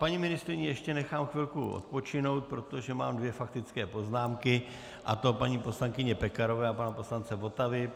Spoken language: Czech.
Paní ministryni ještě nechám chvilku odpočinout, protože mám dvě faktické poznámky, a to paní poslankyně Pekarové a pana poslance Votavy.